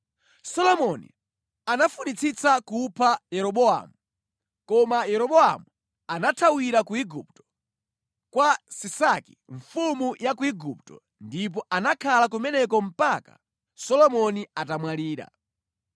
Solomoni anafunitsitsa kupha Yeroboamu, koma Yeroboamu anathawira ku Igupto, kwa Sisaki mfumu ya Igupto ndipo anakhala kumeneko mpaka Solomoni atamwalira.